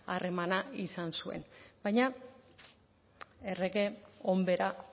harremana izan zuen baina errege onbera